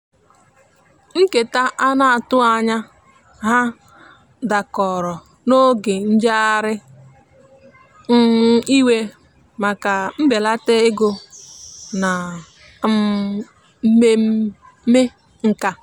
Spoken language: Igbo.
nketa ana atughi anya ha dakọrọ n'oge njeghari iwe maka mbelata ego na um mmeme nkà.